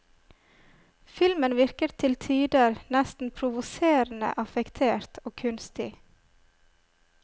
Filmen virker til tider nesten provoserende affektert og kunstig.